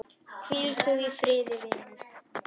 Hvíl þú í friði, vinur.